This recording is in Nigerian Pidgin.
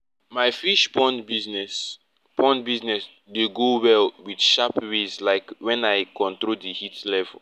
my fish pond business pond business dey do well with sharp ways like wen i control di heat level